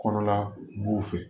Kɔnɔla b'u fɛ